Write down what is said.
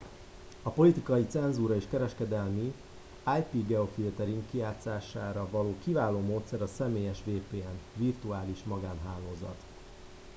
a politikai cenzúra és kereskedelmi ip-geofiltering kijátszására kiváló módszer a személyes vpn virtuális magánhálózat